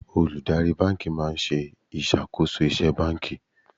Olùdarí báńkì máa ń ṣe ìṣàkóso iṣẹ́ báńkì.